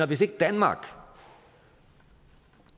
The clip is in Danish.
hvis ikke danmark